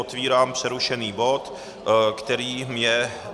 Otevírám přerušený bod, kterým je